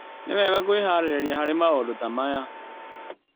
Nĩ wega kwĩharĩrĩria harĩ maũndũ ta maya.